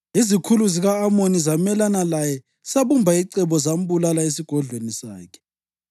Izikhulu zika-Amoni zamelana laye zabumba icebo zambulala esigodlweni sakhe.